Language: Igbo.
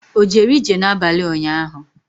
O jere ije n'abalị ụnyaahụ?